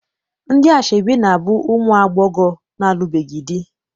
Ndị asọebi na- abụ ụmụ agbọghọ alụbeghị di.